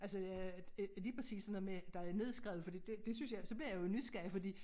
Altså jeg lige præcis sådan noget med der er nedskrevet fordi det det synes jeg så bliver jeg jo nysgerrig fordi